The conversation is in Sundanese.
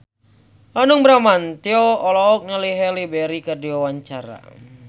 Hanung Bramantyo olohok ningali Halle Berry keur diwawancara